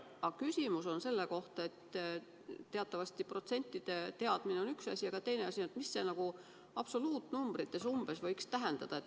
Aga küsimus on selle kohta, et protsentide teadmine on teatavasti üks asi, aga teine asi on see, kui palju see absoluutnumbrites umbes võiks olla.